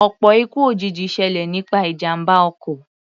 Ọ̀pọ̀ ikú òjijì ṣẹlẹ̀ nípa ìjàmbá ọkọ̀.